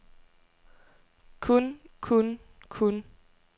kun kun kun